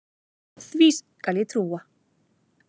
Því skal ég trúa